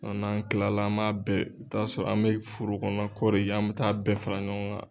N'an kilala an b'a bɛɛ t'a sɔrɔ an bɛ furu kɔnɔ ko de ye , an bɛ taa bɛɛ fara ɲɔgɔn kan.